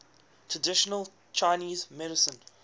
traditional chinese medicine